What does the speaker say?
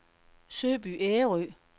Søby Ærø